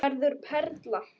Verður perla.